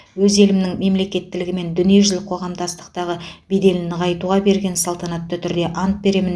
өз елімнің мемлекеттілігі мен дүниежүзілік қоғамдастықтағы беделін нығайта беруге салтанатты түрде ант беремін